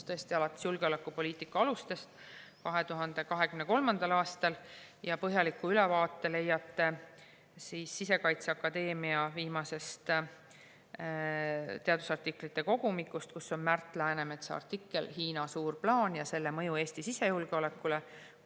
Tõesti, alates julgeolekupoliitika alustest 2023. aastal, ja põhjaliku ülevaate leiate Sisekaitseakadeemia viimasest teadusartiklite kogumikust, kus on Märt Läänemetsa artikkel "Hiina "Suur plaan" ja selle mõju Eesti sisejulgeolekule".